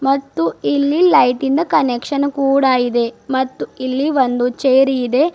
ಮತ್ತು ಇಲ್ಲಿ ಲೈಟ್ ಇಂದು ಕನೆಕ್ಷನ್ ಕೂಡ ಇದೆ ಮತ್ತು ಇಲ್ಲಿ ಒಂದು ಚೇರ್ ಇದೆ.